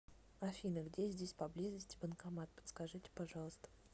афина где здесь поблизости банкомат подскажите пожалуйста